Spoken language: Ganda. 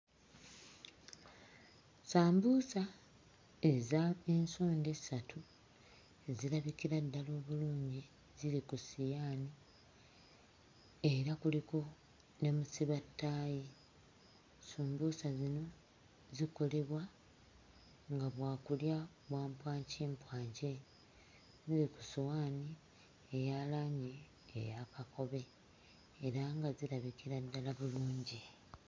Sambuusa ez'ensonda essatu ezirabikira ddala obulungi ziri ku ssiyaani era kuliko ne musibattaayi. Sumbuusa zino zikolebwa nga bwakulya bwampwankimpwaki. Buli ku ssuwaani eya langi eya kakobe era nga zirabikira ddala bulungi.